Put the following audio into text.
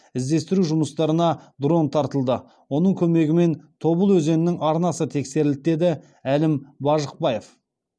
іздестіру жұмыстарына дрон тартылды оның көмегімен тобыл өзенінің арнасы тексерілді деді әлім бажықбаев